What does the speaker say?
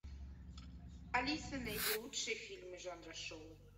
алиса найди лучшие фильмы жанра шоу